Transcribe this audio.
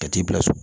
Ka t'i bila so